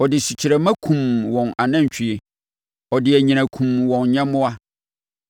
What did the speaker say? Ɔde sukyerɛmma kumm wɔn anantwie ɔde anyinam kumm wɔn nyɛmmoa.